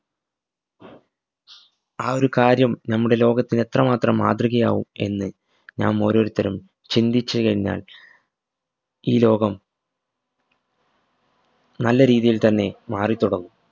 ആ ഒരു കാര്യം നമ്മുടെ ലോകത്തിനെത്രമാത്രം മാതൃകയാവും എന്ന് നാം ഓരോരുത്തരും ചിന്തിച് കഴിഞ്ഞാൽ ഈ ലോകം നല്ല രീതിയിൽ തന്നെ മാറി തൊടങ്ങും